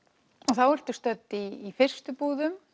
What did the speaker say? þá ertu stödd í fyrstu búðum